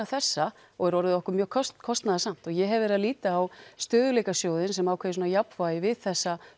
þessa og er orðið okkur mjög kostnaðarsamt og ég hef verið að líta á stöðugleikasjóðinn sem ákveðið jafnvægi við þessa